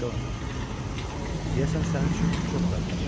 Jonathan, deyəsən sənin üçün çox darıxacam.